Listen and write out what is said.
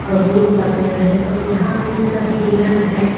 बबुल का पेड़ है और यहाँ पे सभी हिरण है।